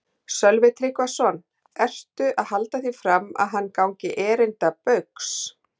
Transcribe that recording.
Sölvi Tryggvason: Ertu að halda því fram að hann gangi erinda Baugs?